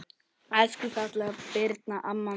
Elsku fallega Birna amma mín.